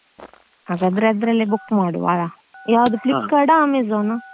ಹಾಗಾದ್ರೆ ಅದ್ರಲ್ಲೇ book ಮಾಡುವ ಅಲ್ಲ ಯಾವ್ದು Flipkart ಆ Amazon ಆ.